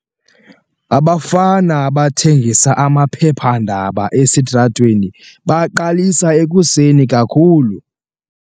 Abafana abathengisa amaphephandaba esitratweni baqalisa ekuseni kakhulu.